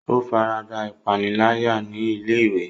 O farada ipanilaya ni ilé-ìwé.